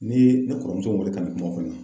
Ni ne kɔrɔmuso weele ka na kuma